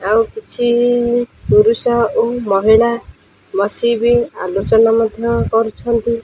ଆଉ କିଛି ପୁରୁଷ ଓ ମହିଳା ବସି ବି ଆଲୋଚନା ମଧ୍ୟ କରୁଛନ୍ତି।